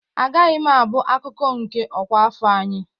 Agaghị m abụ akụkụ nke ọkwa afọ anyị!